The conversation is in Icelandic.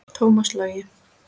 Tómas Logi.